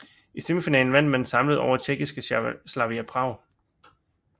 I semifinalen vandt man samlet over tjekkiske Slavia Prag